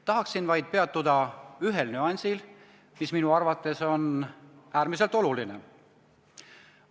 Tahaksin vaid peatuda ühel nüansil, mis minu arvates on äärmiselt oluline.